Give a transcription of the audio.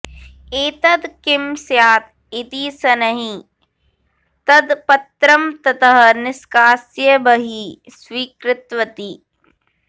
एतद् किं स्यात् इति शनैः तद् पत्रं ततः निष्कास्य बहिः स्वीकृतवती